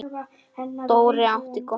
Dóri átti gott líf.